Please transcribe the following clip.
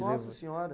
Nossa senhora.